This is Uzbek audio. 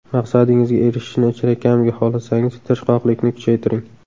Maqsadingizga erishishni chinakamiga xohlasangiz tirishqoqlikni kuchaytiring.